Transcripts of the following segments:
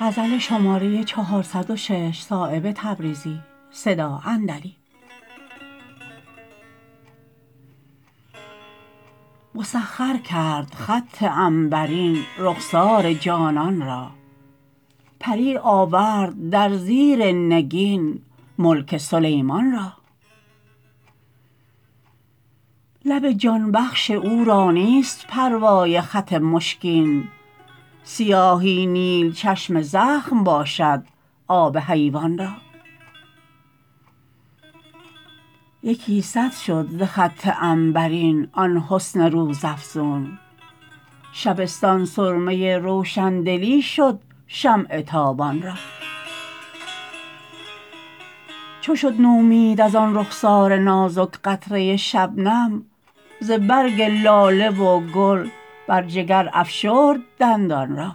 مسخر کرد خط عنبرین رخسار جانان را پری آورد در زیر نگین ملک سلیمان را لب جان بخش او را نیست پروای خط مشکین سیاهی نیل چشم زخم باشد آب حیوان را یکی صد شد ز خط عنبرین آن حسن روزافزون شبستان سرمه روشندلی شد شمع تابان را چو شد نومید ازان رخسار نازک قطره شبنم ز برگ لاله و گل بر جگر افشرد دندان را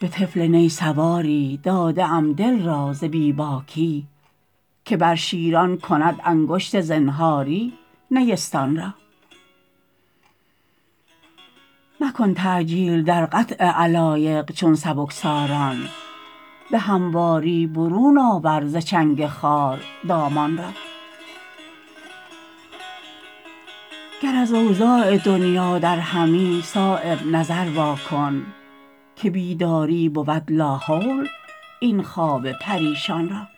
به طفل نی سواری داده ام دل را ز بی باکی که بر شیران کند انگشت زنهاری نیستان را مکن تعجیل در قطع علایق چون سبکساران به همواری برون آور ز چنگ خار دامان را گر از اوضاع دنیا درهمی صایب نظر وا کن که بیداری بود لاحول این خواب پریشان را